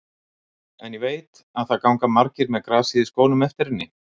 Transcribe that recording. En ég veit að það ganga margir með grasið í skónum eftir henni.